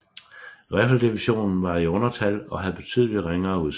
Riffeldivision var i undertal og havde betydeligt ringere udstyr